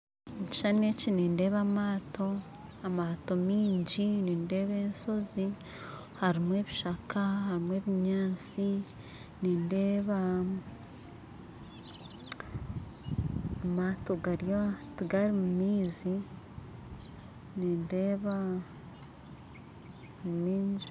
Omu kishushani eki nindeeba amaato, amaato maingi nindeeba enshozi harumu ebishaka harumu ebinyantsi nindeeba amaato tigari mu maizi nindeeba ni maingi.